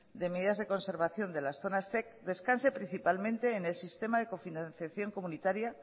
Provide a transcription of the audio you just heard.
de medidas de conservación de las zonas zec descanse principalmente en el sistema de cofinanciación comunitaria